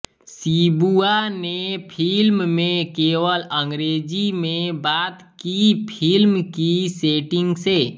Shibuya ने film में केवल अंग्रेजी में बात की फिल्म की सेटिंग से